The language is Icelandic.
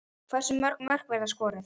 Hversu mörg mörk verða skoruð?